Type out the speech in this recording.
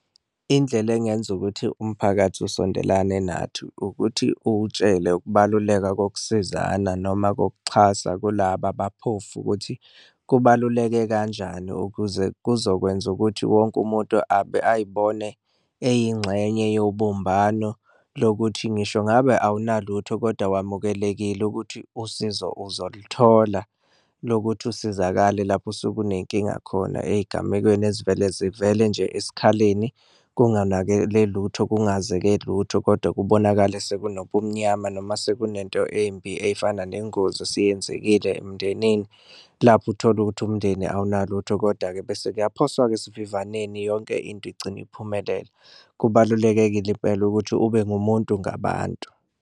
Indlela engenza ukuthi umphakathi usondelane nathi ukuthi uwutshele ukubaluleka kokusizana noma kokuxhasa kulaba abaphofu ukuthi kubaluleke kanjani, ukuze kuzokwenza ukuthi wonke umuntu ayibone eyingxenye yobumbano. Lokuthi ngisho ngabe awunalutho kodwa wamukelekile ukuthi usizo uzoluthola lokuthi usizakale lapho osuke unenkinga khona, ey'gamekweni ezivele zivele nje esikhaleni kunganakele lutho kungazeke lutho. Kodwa kubonakale sekunobumnyama noma sekunento embi ey'fana nengozi esiyenzekile emndenini lapho utholukuthi umndeni awunalutho koda-ke bese kuyaphaswa-ke esivivaneni yonke into igcine iphumelela, kubalulekile impela ukuthi ube ngumuntu ngabantu.